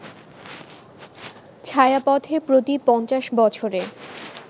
ছায়াপথে প্রতি ৫০ বছরে